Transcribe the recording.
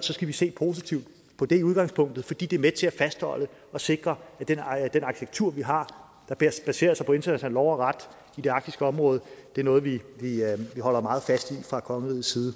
så skal vi se positivt på det i udgangspunktet fordi det er med til at fastholde og sikre at den arkitektur vi har der baserer sig på international lov og ret i det arktiske område er noget vi holder meget fast i fra kongerigets side